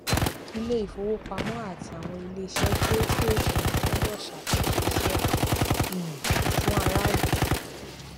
ilé ìfowópamọ àti àwọn ilé iṣẹ kéékèèké gbọdọ ṣàtúnṣe iṣẹ um fún aráàlú